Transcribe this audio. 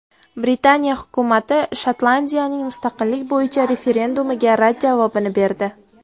Britaniya hukumati Shotlandiyaning mustaqillik bo‘yicha referendumiga rad javobini berdi.